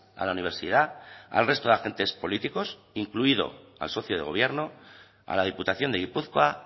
a la universidad al resto de agentes políticos incluido al socio de gobierno a la diputación de gipuzkoa